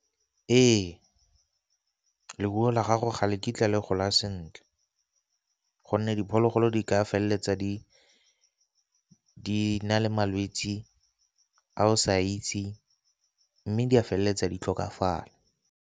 Ee, leruo la gago ga le kitla le gola sentle gonne diphologolo di ka feleletsa di na le malwetsi a o sa itse mme di a feleletsa di tlhokafala.